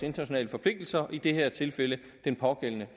internationale forpligtelser i det her tilfælde den pågældende